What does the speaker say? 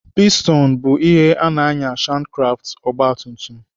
Pistonụ bụ ihe na-ànyà shankkraftụ ọgbatumtum.